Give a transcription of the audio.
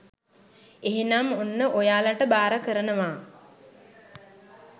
එහෙනම් ඔන්න ඔයාලට බාර කරනවා